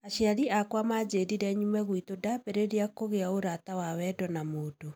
Aciari akwa majĩrire nyuma gwitù ndambĩriria kũgĩa urata wa wendo na mũndũ